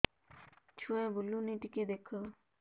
ଛୁଆ ବୁଲୁନି ଟିକେ ଦେଖ